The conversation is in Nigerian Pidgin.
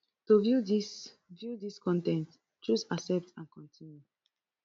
to view dis view dis con ten t choose accept and continue